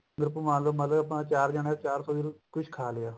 group ਬਣਾਲੋ ਮਤਲਬ ਆਪਾਂ ਚਾਰ ਜਣੇ ਚਾਰ ਸੋ ਦੇ ਵਿੱਚ ਖਾ ਲਿਆ